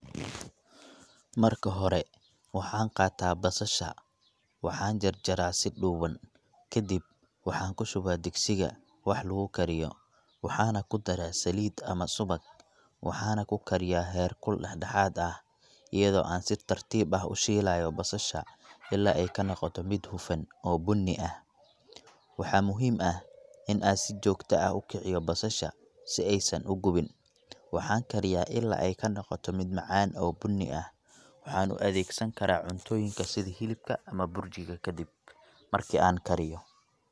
Marka hore, waxaan qaataa basasha, waxaanan jarjaraa si dhuuban. Kadib waxaan ku shubaa digsiga wax lagu kariyo, waxaana ku daraa saliid ama subag. Waxaana ku kariyaa heerkul dhexdhexaad ah, iyadoo aan si tartiib ah u shiilayo basasha ilaa ay ka noqoto mid hufan oo bunni ah. Waxaa muhiim ah in aan si joogto ah u kiciyo basasha si aysan u gubin. Waxaan kariyaa ilaa ay ka noqoto mid macaan oo bunni ah, waxaana u adeegsan karaa cuntooyinka sida hilibka ama burjiga kadib marki aan kariyo.